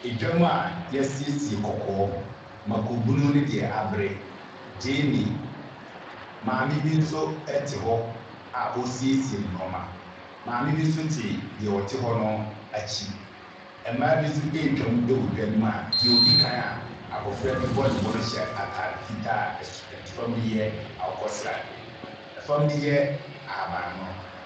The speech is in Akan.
Dwam a wɔasiesie kɔkɔɔ, mmako bunu ne deɛ abere, gyeene. Maame bi nso te hɔ a ɔresiesie ne nneɛma. Maame bi nso te deɛ ɔte hɔ no akyi. Mmaa bi nso retwam wɔ dwa no mu a deɛ ɔdi kan a abɔfra bi bɔ ne bo no hyɛ atade fitaa a ɛs fam no yɛ akokɔ sradeɛ, fam no yɛ ahaban mono.